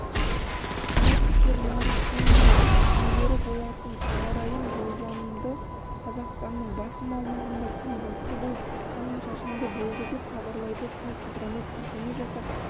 синоптиктер наурыздың мен күндері болатын ауа райын болжады қазақстанның басым аумағында күн бұлтты болып жауын-шашынды болады деп хабарлайды қазгидромет сілтеме жасап